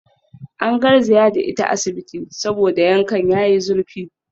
An garzaya da ita asibiti saboda yankan yayi zurfi